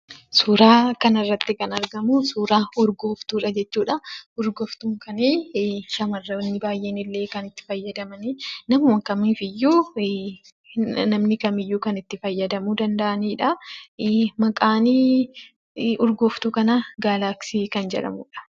Suuraa kanarratti kan argamu suuraa urgooftuudha jechuudha. Urgooftuun kun shamarran baay'een kan itti fayyadamanidha. Namni kamiyyuu kan itti fayyadamuu danda'anidha. Maqaan urgooftuu kanaa Galaaksii kan jedhamudha.